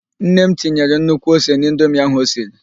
Nne m tinyere nnukwu ose n'indomi ahụ osiri.